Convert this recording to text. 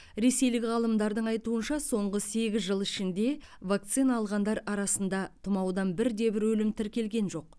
ресейлік ғалымдардың айтуынша соңғы сегіз жыл ішінде вакцина алғандар арасында тұмаудан бірде бір өлім тіркелген жоқ